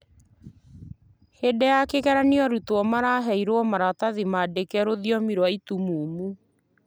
Hĩndĩ ya kĩgeranio arutwo maraheirwo maratathi maandĩke rũthiomi rwa itumumu